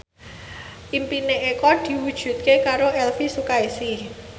impine Eko diwujudke karo Elvy Sukaesih